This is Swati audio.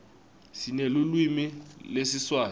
sinelulwimi lesiswati